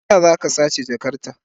Me yasa za ka sace jakarta?